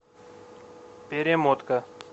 перемотка